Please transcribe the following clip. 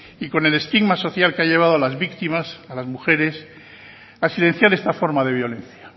y con el estigma social que ha llevado a las víctimas a las mujeres a silenciar esta forma de violencia